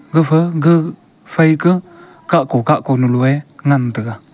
gapha ga phaika khakko khakko noluei ngan taga.